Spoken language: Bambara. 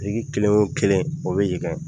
Biriki kelen wo kelen o bɛ